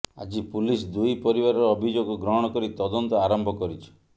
ଆଜି ପୁଲିସ ଦୁଇ ପରିବାରର ଅଭିଯୋଗ ଗ୍ରହଣ କରି ତଦନ୍ତ ଆରମ୍ଭ କରିଛି